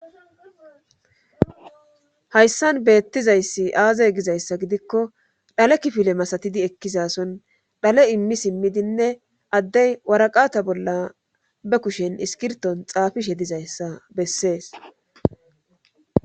hayssan beettizayssi aazay gizayssa gidikko dhale kifile masatidi ekkisason dhale immi simmidinne addey waraqata bolla be kushen iskirton xaafishe dizayssa bessees